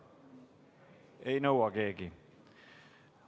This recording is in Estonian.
Keegi ei nõua seda.